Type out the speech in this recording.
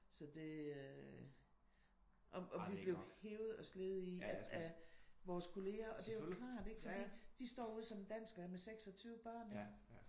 Så det øh og og vi blev hevet og slevet i af vores kolleger og det er jo klart ik for de står ude som dansklærere med 26 børn ik?